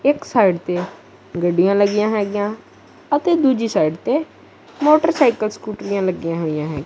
ਇੱਕ ਸਾਈਡ ਤੇ ਗੱਡੀਆਂ ਲੱਗੀਆਂ ਹੈਗੀਆਂ ਅਤੇ ਦੁੱਜੀ ਸਾਈਡ ਤੇ ਮੋਟਰਸਾਈਕਲ ਸਕੂਟ੍ਰਿਆਂ ਲੱਗੀਆਂ ਹੋਈਆਂ ਹੈਂ।